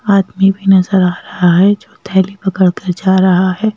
आदमी भी नजर आ रहा है जो थैली पकड़ कर जा रहा है।